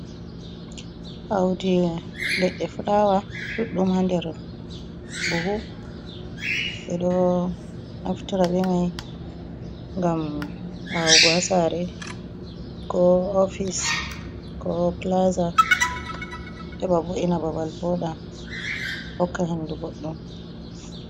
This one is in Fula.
Audi leɗɗe flawa ɗuɗɗum ha nder buhu ɓeɗo naftora bemai ngam awugo ha sare, ko ofice, ko plaza, heɓa bo’ina babal woɗa hokka hendu boɗɗum.